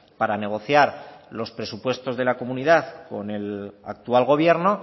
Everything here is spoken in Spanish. para negociar los presupuestos de la comunidad con el actual gobierno